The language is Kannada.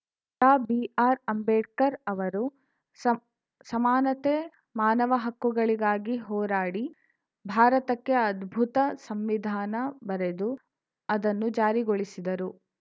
ಡಾ ಬಿಆರ್‌ ಅಂಬೇಡ್ಕರ್‌ ಅವರು ಸಮ್ ಸಮಾನತೆ ಮಾನವ ಹಕ್ಕುಗಳಿಗಾಗಿ ಹೋರಾಡಿ ಭಾರತಕ್ಕೆ ಅದ್ಭುತ ಸಂವಿಧಾನ ಬರೆದು ಅದನ್ನು ಜಾರಿಗೊಳಿಸಿದರು